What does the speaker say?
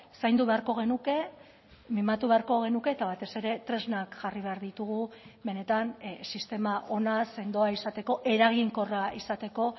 zaindu beharko genuke mimatu beharko genuke eta batez ere tresnak jarri behar ditugu benetan sistema ona sendoa izateko eraginkorra izateko